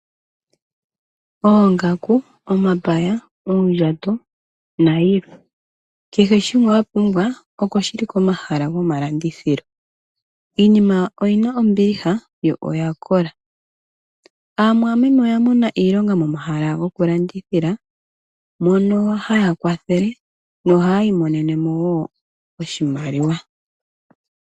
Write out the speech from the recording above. Oongaku, omapaya, oondjato, nayi lwe. Keshe shimwe wapumbwa oko shili komahala gomalandithilo. Iinima oyina ombiliha yo oya kola. Aamwameme oya mona iilonga momahala goku landithila, mono haya kwathele yo ohaya iimonenemo wo oshimaliwa.